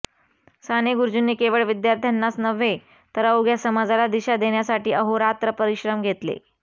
साने गुरुजींनी केवळ विद्यार्थ्यांनाच नव्हे तर अवघ्या समाजाला दिशा देण्यासाठी अहोरात्र परिश्रम घेतले